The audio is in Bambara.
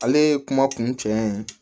Ale ye kuma kun cɛ ye